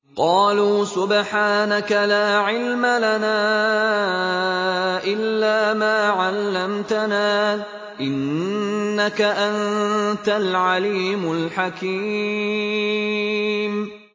قَالُوا سُبْحَانَكَ لَا عِلْمَ لَنَا إِلَّا مَا عَلَّمْتَنَا ۖ إِنَّكَ أَنتَ الْعَلِيمُ الْحَكِيمُ